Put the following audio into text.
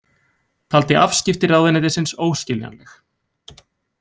Taldi afskipti ráðuneytisins óskiljanleg